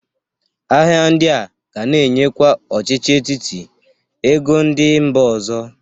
Ahịa ndị a ga na-enyekwa ọchịchị etiti ego ndị mba ọzọ.